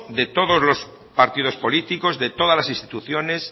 de todos los partidos políticos de todas las instituciones